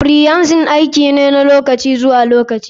Freelancing aiki ne na lokaci zuwa lokaci.